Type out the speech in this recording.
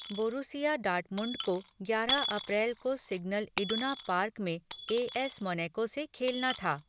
Borussia Dortmund को ग्यारह अप्रैल को सिग्नल इडुना पार्क में ए एस मोनैको से खेलना था।